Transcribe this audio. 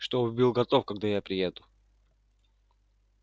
чтобы был готов когда я приеду